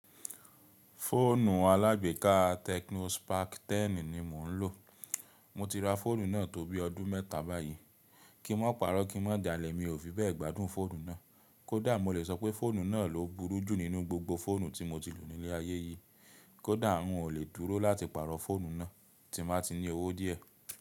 Fóònù alágbéka Tecnos Spark 10 ni mò ń lò. Mo ti ra fóònù náà tó bí ọdún mẹ́ta báyìí. Kí n mó parọ́, kí n mó jalè, mi ò fi bẹ́ẹ̀ gbádùn fóònù náà. Kódà mo lè sọ pé fóònù náà ló burú jù nínú gbogbo fóònù tí mo ti lò nílé ayé yìí. Kódà ń ò lè dúró láti pàrọ̀ fóònù náà tí n ba ti ní owó díẹ̀.